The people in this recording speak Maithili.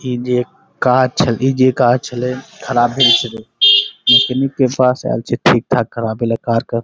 ई जे काँच ई जे काँच हलइ ख़राब भेल छलई। मैकेनिक के पास आएल छे ठीक-ठाक करावेला कार के।